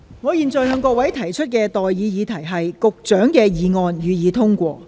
我現在向各位提出的待議議題是：保安局局長動議的議案，予以通過。